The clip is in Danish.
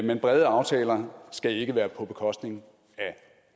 men brede aftaler skal ikke være på bekostning af